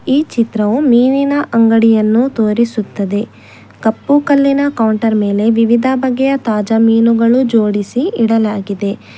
ಈ ಚಿತ್ರ ಅಂಗಡಿಯನ್ನು ತೋರಿಸುತ್ತದೆ ಕಪ್ಪು ಕಲ್ಲಿನ ಕೌಂಟರ್ ಮೇಲೆ ವಿವಿಧ ಬಗೆಯ ತಾಜಾ ಮೀನುಗಳು ಜೋಡಿಸಿ ಇಡಲಾಗಿದೆ.